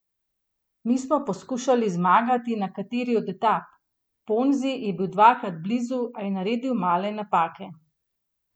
Mi smo poskušali zmagati na kateri od etap, Ponzi je bil dvakrat blizu, a je naredil male napake.